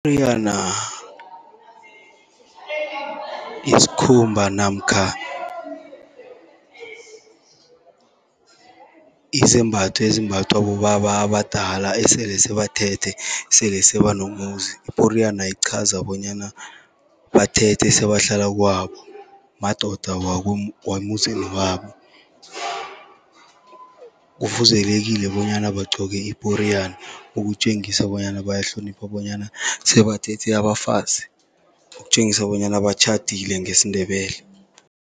isikhumba namkha izembatho ezimbathwa bobaba abadala esele sebathethe, sele sebanomuzi. Iporiyana ichaza bonyana bathethe sebahlala kwabo madoda wemzini wabo. Kufuzelekile bonyana bagcoke iporiyana, ukutjengisa bonyana bayahlonipha bonyana sebathethe abafazi, ukutjengisa bonyana batjhadile ngesiNdebele.